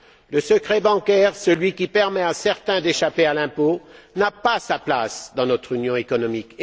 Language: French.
Le secret bancaire, celui qui permet à certains d'échapper à l'impôt, n'a pas sa place dans notre union économique.